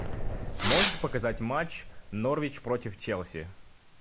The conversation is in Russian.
можешь показать матч норвич против челси